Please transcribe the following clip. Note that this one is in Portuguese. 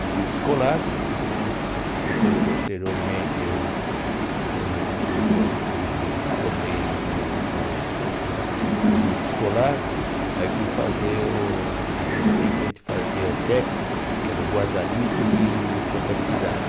no grupo escolar né, depois posteriormente eu formei me for me formei no no grupo escolar, aí fui fazer, naquele tempo a gente fazia o técnico, que era o guarda-livros e contabilidade.